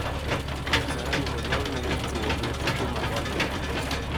Kasarani olorne ikruok netuke mag olympic